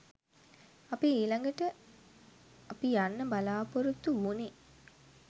අපි ඊළඟට අපි යන්න බලාපොරොත්තු වුනේ